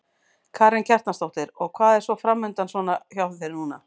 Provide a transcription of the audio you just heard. Karen Kjartansdóttir: Og hvað er svona framundan svona hjá þér núna?